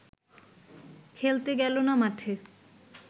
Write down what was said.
খেলতে গেল না মাঠে